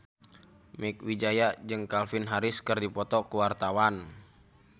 Mieke Wijaya jeung Calvin Harris keur dipoto ku wartawan